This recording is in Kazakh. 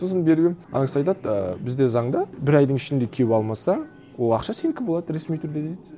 сосын беріп едім ана кісі айтады ы бізде заңда бір айдың ішінде келіп алмаса ол ақша сенікі болады ресми түрде дейді